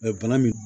bana min